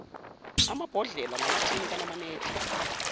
amabhodlela namathini kanamanedi